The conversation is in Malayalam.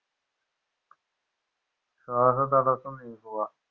ശ്വാസതടസം നീക്കുക